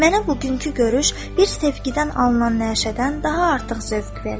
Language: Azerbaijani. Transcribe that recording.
Mənə bugünkü görüş bir sevgidən alınan nəşədən daha artıq zövq verdi.